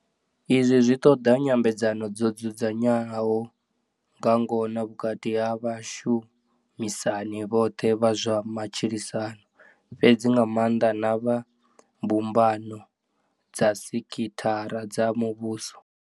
Izwi zwi ḓo ṱoḓa nyambedzano dzo dzudzanaho nga ngona vhukati ha vhashu misani vhoṱhe vha zwa ma tshilisano, fhedzi nga maanḓa na vha mbumbano dza sekithara dza muvhuso.